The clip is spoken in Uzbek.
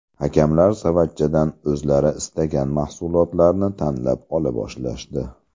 Hakamlar savatchadan o‘zlari istagan mahsulotlarni tanlab ola boshlashdi.